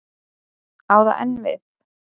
Á það enn við?